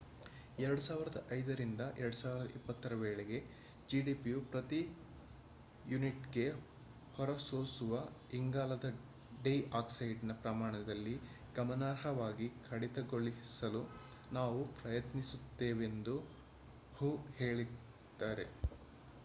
2005 ರಿಂದ 2020 ರ ವೇಳೆಗೆ ಜಿಡಿಪಿಯ ಪ್ರತಿ ಯೂನಿಟ್‌ಗೆ ಹೊರಸೂಸುವ ಇಂಗಾಲದ ಡೈ ಆಕ್ಸೈಡ್‌ನ ಪ್ರಮಾಣದಲ್ಲಿ ಗಮನಾರ್ಹವಾಗಿ ಕಡಿತಗೊಳಿಸಲು ನಾವು ಪ್ರಯತ್ನಿಸುತ್ತೇವೆಂದು ಹೂ ಹೇಳಿದ್ದಾರೆ